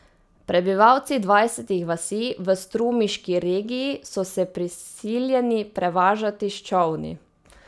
Prebivalci dvajsetih vasi v strumiški regiji so se prisiljeni prevažati s čolni.